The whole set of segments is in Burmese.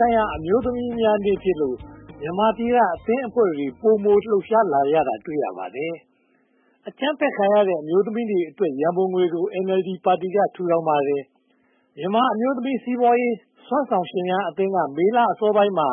ဆိုင်ရာ အမျိုးသမီးများနေ့ဖြစ်လို့ မြန်မာပြည်က အသင်းအဖွဲ့တွေ ပိုမိုလှုပ်ရှားကြတာကို တွေ့ရပါတယ်။ အကြမ်းဖက်ခံရတဲ့ အမျိုးသမီးတွေအတွက် ရန်ပုံငွေကို NLD ပါတီက ထူထောင်ပါတယ်။ မြန်မာ့အမျိုးသမီး စီးပွားရေးစွမ်းဆောင်ရှင်များအသင်းက မေလအစောပိုင်းမှာ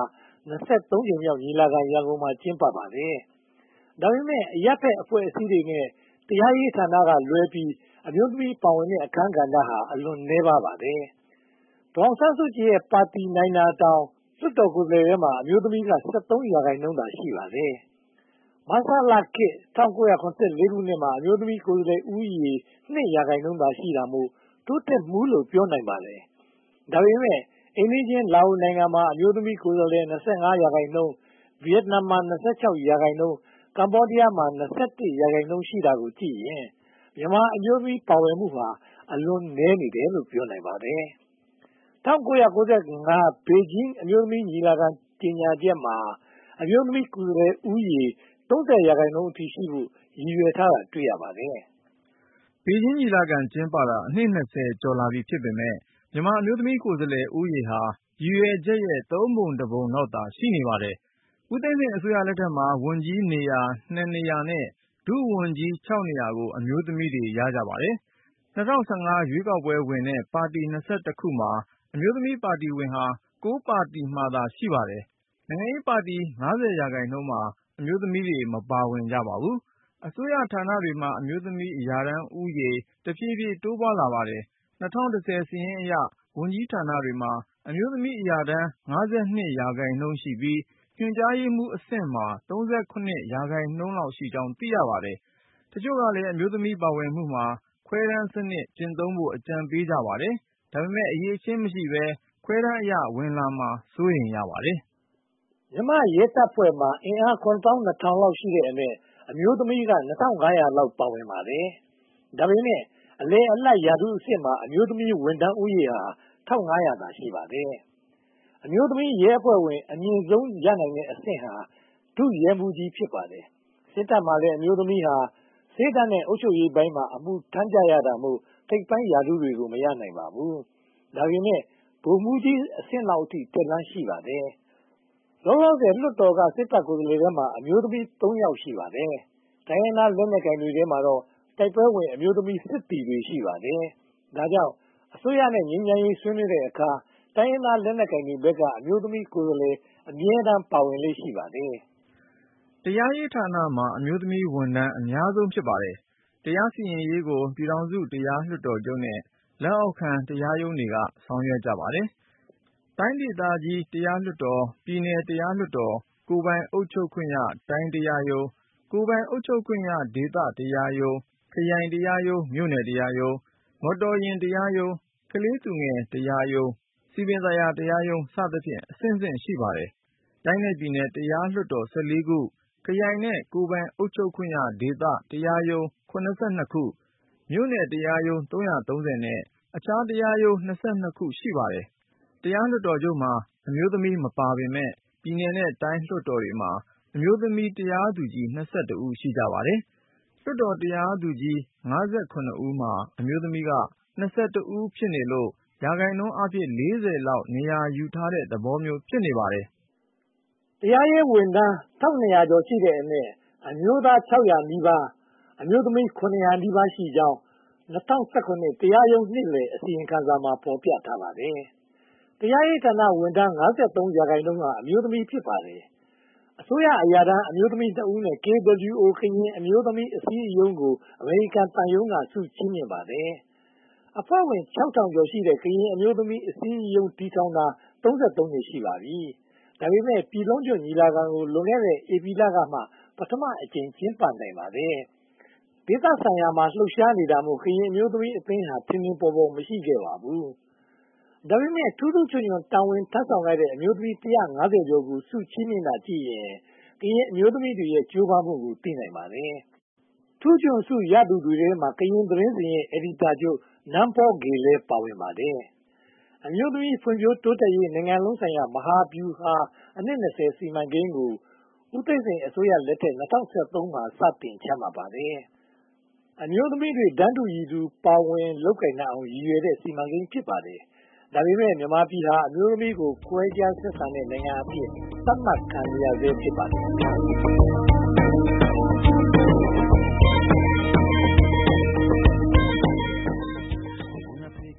ကြိမ်မြောက် ညီလာခံ ရန်ကုန်မှာ ကျင်းပပါတယ်။ ဒါပေမဲ့ အရပ်ဖက်အဖွဲ့အစည်းတွေနဲ့ တရားရေးဌာနကလွဲပြီး အမျိုးသမီးများပါဝင်တဲ့ အခန်းကဏ္ဍ အလွန်နည်းပါးပါတယ်။ ဒေါ်အောင်ဆန်းစုကြည်ရဲ့ ပါတီနိုင်တာတောင် လွှတ်တော်ကိုယ်စားလှယ်ထဲမှာ အမျိုးသမီးက ရာခိုင်နှုန်းသာ ရှိပါတယ်။ မဆလခေတ် ၁၉၇၄ ခုနှစ်မှာ အမျိုးသမီးကိုယ်စားလှယ်ဦးရေ ရာခိုင်နှုန်းသာ ရှိတာမို့ တိုးတက်မှုလို့ ပြောနိုင်ပါတယ်။ ဒါပေမဲ့ အိမ်နီးချင်း လာအိုနိုင်ငံမှာ အမျိုးသမီးကိုယ်စားလှယ်ဦးရေ ရာခိုင်နှုန်း၊ ဗိယက်နမ်မှာ ရာခိုင်နှုန်း၊ ကမ္ဘောဒီးယားမှာ ရာခိုင်နှုန်း ရှိတာကိုကြည့်ရင် မြန်မာအမျိုးသမီး ပါဝင်မှုဟာ အလွန်နည်းသေးတယ်လို့ ပြောနိုင်ပါတယ်။ ၁၉၉၅ ခုနှစ် ဘေဂျင်းအမျိုးသမီးညီလာခံ ကြေညာချက်မှာ အမျိုးသမီးကိုယ်စားလှယ်ဦးရေ ရာခိုင်နှုန်းအထိရှိဖိုပ ရည်ရွယ်ထားတာ တွေ့ရပါတယ်။ ဘေဂျင်းညီလာခံ ကျင်းပခဲ့တာ အနှစ် ကျော်လာပြီဖြစ်ပေမယ့် မြန်မာအမျိုးသမီး ကိုယ်စားလှယ်ဦးရေဟာ ရည်ရွယ်ချက်ရဲ့ သုံးပုံတပုံလောက်သာ ရှိနေပါတယ်။ ဦးသိန်းစိန်အစိုးရလက်ထက်မှာ ဝန်ကြီးနေရာ နေရာ နဲ့ ဒုဝန်ကြီး နေရာကို အမျိုးသမီးတွေ ရကြပါတယ်။ ၂၀၁၅ ရွေးကောက်ပွဲဝင်တဲ့ ပါတီ ခုမှာ အမျိုးသမီးပါတီဝင်ဟာ ပါတီမှာသာ ရှိပါတယ်။ နိုင်ငံရေးပါတီ ရာခိုင်နှုန်းမှာ အမျိုးသမီးတွေ မပါဝင်ကြပါဘူး။ အစိုးရဌာနတွေမှာ အမျိုးသမီးရာထမ်းဦးရေ တဖြည်းဖြည်း တိုးပွားလာပါတယ်။ ၂၀၁၀ စာရင်းအရ ဝန်ကြီးဌာနတွေမှာ အမျိုးသမီးရာထမ်း ရာခိုင်နှုန်းရှိပြီး ညွှန်ကြားရေးမှူအဆင့်မှာ ရာခိုင်နှုန်းလောက်ရှိကြောင်း သိရပါတယ်။ တချို့ကလည်း အမျိုးသမီးပါဝင်မှုမှာ ခွဲတမ်းစနစ်ကျင့်သုံးဖို့ အကြံပေးပါတယ်။ ဒါပေမဲ့ အရည်အချင်း မရှိဘဲ ခွဲတမ်းအရ ဝင်လာမှာ စိုးရိမ်ရပါတယ်။ မြန်မာ့ရဲတပ်ဖွဲ့မှာ အင်အား လောက်ရှိတဲ့အနက် အမျိုးသမီးက လောက် ပါဝင်ပါတယ်။ ဒါပေမဲ့ အလယ်အလတ် ရာထူးအဆင့်မှာ အမျိုးသမီးဝန်ထမ်းဦးရေ သာ ရှိပါတယ်။ အမျိုးသမီးရဲအဖွဲ့ဝင် အမြင့်ဆုံးရနိုင်တဲ့အဆင့်ဟာ ဒုရဲမှူးကြီး ဖြစ်ပါတယ်။ စစ်တပ်မှာလည်း အမျိုးသမီးဟာ ဆေးတပ်နဲ့ အုပ်ချုပ်ရေးပိုင်းမှာ အမှုထမ်းရကြတာမို့ ထိပ်ပိုင်းရာထူးကြီးတွေကို မရနိုင်ပါဘူး။ ဒါပေမဲ့ ဗိုလ်မှူးကြီးအဆင့်လောက်အထိ တက်လမ်းရှိကြပါတယ်။ လောလောဆယ် လွှတ်တော်က စစ်တပ်ကိုယ်စားလှယ်ထဲမှာ အမျိုးသမီး ယောက် ရှိပါတယ်။ တိုင်းရင်းသား လက်နက်ကိုင်တွေထဲမှာတော့ တိုက်ပွဲဝင်တဲ့ အမျိုးသမီးစစ်သည်တွေ ရှိပါတယ်။ ဒါကြောင့် အစိုးရ နဲ့ ငြိမ်းချမ်းရေး ဆွေးနွေးတဲ့အခါ တိုင်းရင်းသားလက်နက်ကိုင်တွေဘက်က အမျိုးသမီးကိုယ်စားလှယ် အမြဲတမ်း ပါဝင်လေ့ရှိပါတယ်။ တရားရေးဌာနက အမျိုးသမီးဝန်ထမ်း အများဆုံး ဖြစ်ပါတယ်။ တရားစီရင်ရေးကို ပြည်ထောင်စုလွှတ်တော် တရားလွှတ်တော်ချုပ်နဲ့ လက်အောက်ခံ တရားရုံးတွေက ဆောင်ရွက်ပါတယ်။ တိုင်းဒေသကြီး တရားလွှတ်တော်၊ ပြည်နယ်တရားလွတ်တော်၊ ကိုယ်ပိုင်အုပ်ချုပ်ခွင့်ရ ဒေသတရားရုံး၊ ခရိုင်တရားရုံး၊ မြို့နယ်တရားရုံး၊ မော်တော်ယာဉ်တရားရုံး၊ ကလေးသူငယ် တရားရုံး၊ စည်ပင်သာယာ တရား စသဖြင့် အဆင့်ဆင့် ရှိပါတယ်။ တိုင်းနဲ့ပြည်နယ် တရားလွှတ်တော် ခု၊ ခရိုင်နဲ့ ကိုယ်ပိုင်အုပ်ချုပ်ခွင့်ရ ဒေသတရားရုံး ခု၊ မြို့နယ်တရားရုံး နဲ့ အခြားတရားရုံး ခု ရှိပါတယ်။ တရားလွှတ်တော်ချုပ်မှာ အမျိုးသမီးမပါပေမယ့် ပြည်နယ်နဲ့တိုင်း လွှတ်တော်မှာ အမျိုးသမီး တရားသူကြီး ဦး ရှိပါတယ်။ လွှတ်တော်တရားသူကြီး ဦးမှာ အမျိုးသမီးက ဦး ဖြစ်နေလို့ ရာခိုင်နှုန်း လောက် နေရာယူထားတဲ့ သဘောမျိုး ဖြစ်နေပါတယ်။ တရားရေးဝန်ထမ်း ဦးအနက် အမျိုးသား ဦး၊ အမျိုးသမီး ရှိကြောင်း ၂၀၁၇ တရားရုံးနှစ်ပတ်လည် အစီရင်ခံစာမှာ ဖော်ပြထားပါတယ်။ တရားရေးဝန်ထမ်း ရာခိုင်နှုန်းဟာ အမျိုးသမီး ဖြစ်ပါတယ်။ အစိုးရအရာထမ်း အမျိုးသမီး ဦးနဲ့ KWO ကရင်အမျိုးသမီးအစည်းအရုံးကို အမေရိကန်သံရုံးက ဆုချီးမြှင့်ပါတယ်။ အဖွဲ့ဝင် ကျော်ရှိတဲ့ ကရင်အမျိုးသမီးအစည်းအရုံး တည်ထောင်ထားတာ နှစ် ရှိပါတယ်။ ဒါပေမဲ့ ပြည်လုံးကျွတ် ညီလာခံကို လွန်ခဲ့တဲ့ ဧပြီလကမှ ပထမအကြိမ် ကျင်းပနိုင်ပါတယ်။ ဒေသဆိုင်ရာ လှုပ်ရှားတာမို့ ကရင်အမျိုးသမီးအသင်းဟာ ထင်ထင်ပေါ်ပေါ် မရှိခဲ့ပါဘူး။ ဒါပေမဲ့ ထူးထူးချွန်ချွန် တာဝန်ထမ်းဆောင်ခဲ့တဲ့ အမျိုးသမီး ကျော်ကို ဆုချီးမြှင်တာကိုကြည့်ရင် ကရင်အမျိုးသမီးတွေရဲ့ ကြိုးပမ်းမှုကို သိနိုင်ပါတယ်။ ထူးချွန်ဆုရသူတွေထဲမှာ ကရင်သတင်းစဉ်ရဲ့ အယ်ဒီတာချုပ် နန်းဖောဝေလည်း ပါဝင်ပါတယ်။ အမျိုးသမီး ဖွံ့ဖြိုးတိုးတက်ရေး နိုင်ငံလုံးဆိုင်ရာ မဟာဗျူဟာ အနှစ် စီမံကိန်းကို ဦးသိန်းစိန်အစိုးရလက်ထက် ၂၀၁၃ မှာ စတင်ချမှတ်ခဲ့ပါတယ်။ အမျိုးသမီးတွေ တန်းတူရည်တူ ပါဝင်လုပ်ကိုင်နိုင်အောင် ရည်ရွယ်တဲ့ စီမံကိန်း ဖြစ်ပါတယ်။ မြန်မာပြည်ဟာ အမျိုးသမီးကို ခွဲခြားဆက်ဆံတဲ့နိုင်ငံအဖြစ် သတ်မှတ်ခံနေရဆဲ ဖြစ်ပါတယ်။